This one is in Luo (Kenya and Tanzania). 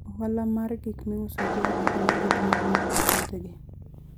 Ohala mar gik miuso jiwo ahinya gik mowuok e puothegi.